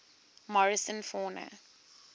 morrison fauna